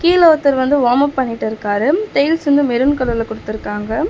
கீழ ஒருத்தரு வந்து வார்ம் அப் பண்ணிட்டிருக்காரு டைல்ஸ் வந்து மெரூன் கலர்ல குடுத்துருக்காங்க.